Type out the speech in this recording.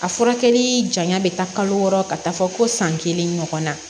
A furakɛli janya bɛ taa kalo wɔɔrɔ ka taa fɔ ko san kelen ɲɔgɔnna